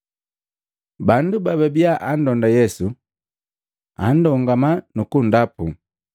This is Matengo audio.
Bandu bababia anndonda Yesu, kundongama nukundapu.